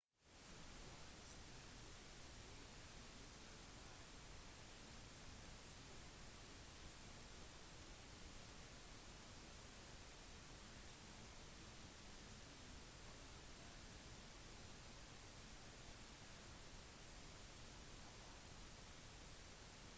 hvis den brukes uten ytterligere pekepinner så betyr imidlertid begrepet som regel mat som opprinnelig kommer fra de sentrale og østlige delene av hovedøya java